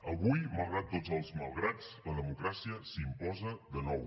avui malgrat tots els malgrats la democràcia s’imposa de nou